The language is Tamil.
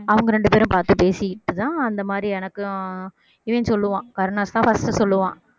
அவங்க ரெண்டு பேரும் பாத்து பேசிட்டு தான் அந்த மாதிரி எனக்கும் இவன் சொல்லுவான் கருணாஸ்தான் first சொல்லுவான்